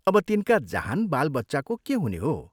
अब तिनका जहान बालबच्चाको के हुने हो?